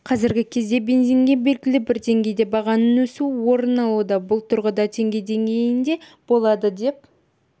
қазіргі кезде бензинге белгілі бір деңгейде бағаның өсуі орын алуда бұл тұрғыда теңге деңгейінде болады деп